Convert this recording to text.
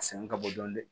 A sɛgɛn ka bon dɔɔnin